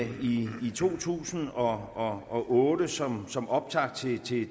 to tusind og og otte som som optakt til